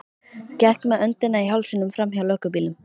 Gekk með öndina í hálsinum framhjá löggubílnum.